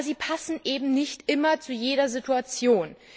Aber sie passen eben nicht immer zu jeder Situation.